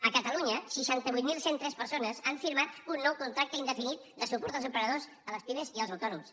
a catalunya seixanta vuit mil cent i tres persones han firmat un nou contracte indefinit de suport als emprenedors a les pimes i als autònoms